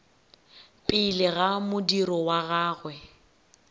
pele ka modiro wa gagwe